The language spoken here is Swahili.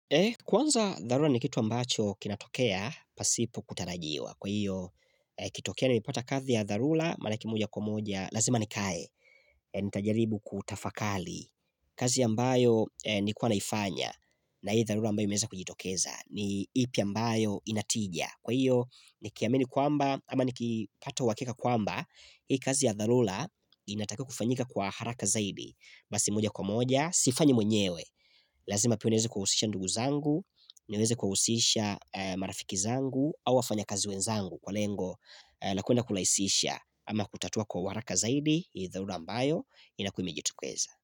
Kwanza dharula ni kitu ambacho kinatokea, pasipo kutarajiwa. Kwa hiyo, ikitokea ni mepata kazi ya dharula, manake moja kwa moja, lazima nikae, nitajaribu kutafakali. Kazi ambayo ni kuwa naifanya na hii dharula ambayo imeza kujitokeza ni ipi ambayo inatidia. Kwa hiyo ni kiamini kwamba ama ni kipata wakika kwamba Hii kazi ya dhalula inataka kufanyika kwa haraka zaidi Basi moja kwa moja, sifanyi mwenyewe Lazima piniweze kuhusisha ndugu zangu, niweze kuhusisha marafiki zangu Awa fanya kazi wenzangu kwa lengo laku kwenda kulaisisha Ama kutatua kwa haraka zaidi, hii dhalula ambayo inakuimejitukeza.